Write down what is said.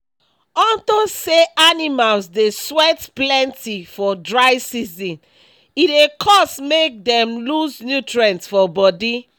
unto say animals dey sweat plenty for dry season e dey cause make dem loose nutrients for body